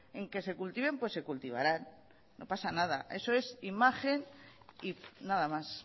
en que se cultiven pues se cultivarán no pasa nada eso es imagen y nada más